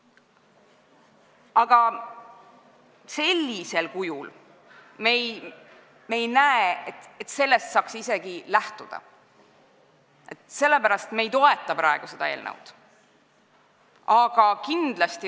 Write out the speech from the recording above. Aga me ei näe, et sellisel kujul saaks asjast lähtuda ja sellepärast me ei toeta seda eelnõu.